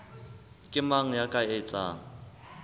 ke mang ya ka etsang